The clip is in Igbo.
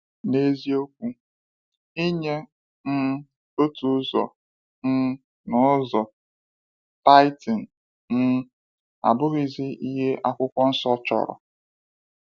N’eziokwu, inye um otu ụzọ um n’ụzọ (tithing) um abụghịzi ihe Akwụkwọ Nsọ chọrọ.